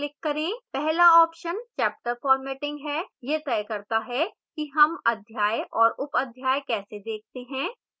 पहला option chapter formatting है यह the करता है कि हम अध्याय और उपअध्याय कैसे देखते हैं